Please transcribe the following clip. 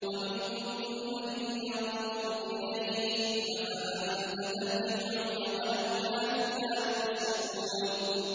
وَمِنْهُم مَّن يَنظُرُ إِلَيْكَ ۚ أَفَأَنتَ تَهْدِي الْعُمْيَ وَلَوْ كَانُوا لَا يُبْصِرُونَ